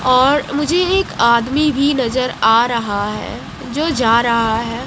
और मुझे एक आदमी भी नजर आ रहा है जो जा रहा है।